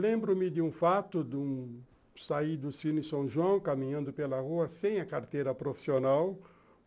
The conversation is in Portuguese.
Lembro-me de um fato de sair do Cine São João caminhando pela rua sem a carteira profissional.